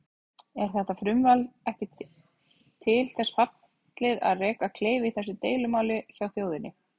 Er þetta frumvarp ekki til þess fallið að reka kleif í þessu deilumáli hjá þjóðinni?